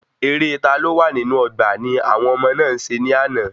Eré "ta ló wà nínú ọgbà"ni àwọn ọmọ náà se ni àná